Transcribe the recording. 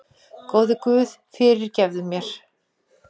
Góði guð, fyrirgefðu mér!